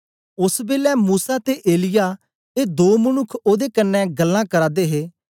ओस बेलै मूसा ते एलिय्याह ए दो मनुक्ख ओदे कन्ने गल्लां करा दे हे